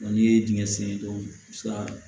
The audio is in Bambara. N'i ye dingɛ sen dɔw bi se ka